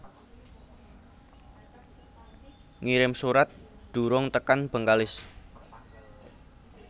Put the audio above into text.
Ngirim surat durung tekan Bengkalis